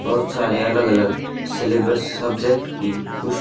बहुत सारे अलग अलग सिलेब्स सब्जेक्ट की पुस--